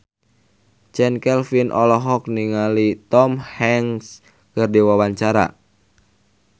Chand Kelvin olohok ningali Tom Hanks keur diwawancara